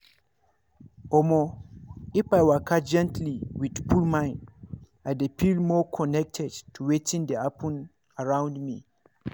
omo if i waka gently with full mind i dey feel more connected to wetin dey happen around me.